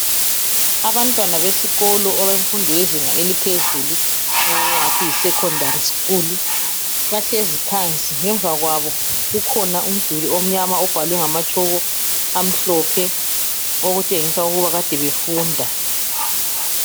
Abantwana besikolo abemfundo yezinga eliphezulu okukhanya engathi yisecondary school bahlezi phansi. Ngemva kwabo kukhona umduli omnyama obhalwe ngamatshoko omhlophe okutshengisa ukuba kade befunda.